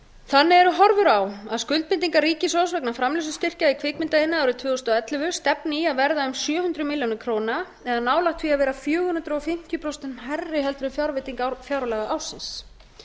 þannig eru horfur á að skuldbindingar ríkissjóðs vegna framleiðslustyrkja í kvikmyndaiðnaði árið tvö þúsund og ellefu stefni í að verða um sjö hundruð milljóna króna eða nálægt því að vera fjögur hundruð fimmtíu prósent hærri heldur en fjárveiting fjárlagaársins